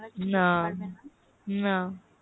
না না